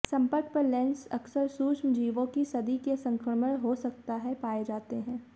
संपर्क पर लेंस अक्सर सूक्ष्मजीवों कि सदी के संक्रमण हो सकता है पाए जाते हैं